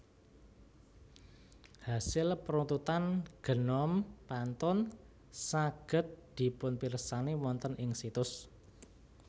Hasil peruntutan genom pantun saged dipunpirsani wonten ing situs